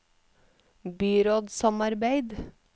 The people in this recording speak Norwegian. byrådssamarbeid